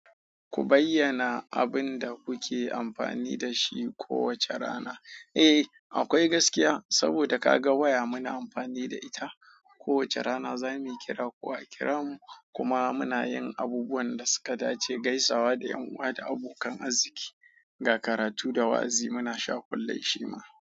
Ku bayyana abin da kuke amfani da shi kowace rana. Eh, akwai gaskiya saboda ka ga waya muna amfani da ita. Kowace rana za mu kira ko a kira mu. Kuma muna yin abubuwan da suka dace, gaisawa da ƴan uwa da abokan arziki. Ga karatu da wa'azi muna sha kullum shi ma.